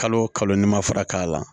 Kalo kalo n ma fara k'a la